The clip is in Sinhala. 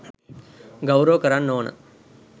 ගෞරව කරන්න ඕන.